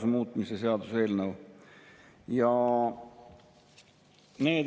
Mind muidugi eriliselt häirib selle eelnõu puhul veel see, et kaotatakse ära täiendav maksuvabastus abikaasa ja laste pealt.